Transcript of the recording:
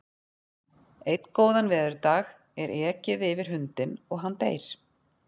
Einn góðan veðurdag er ekið yfir hundinn og hann deyr.